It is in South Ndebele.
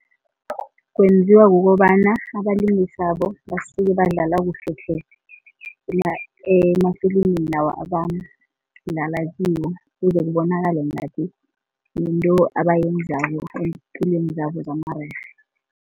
Kwenziwa kukobana abalingisabo basuke badlala kuhle tle emafilimini lawa abadlala kiwo, kuze kubonakale ngathi yinto abayenzako eempilweni zabo zamarerhe.